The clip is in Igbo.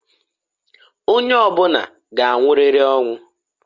Onye ọbụna g'anwụrịrị ọnwụ.